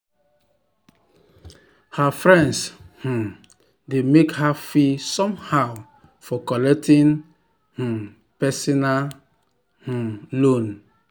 her friends um dey make her feel somehow for collecting um personal um loan.